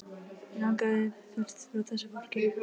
Mig langar burt frá þessu fólki.